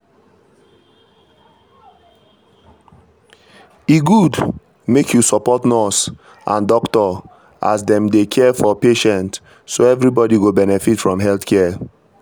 e good make you support nurse and doctor as dem dey care for patient so everybody go benefit from health care.